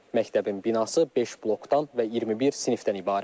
Məktəbin binası beş blokdan və 21 sinifdən ibarətdir.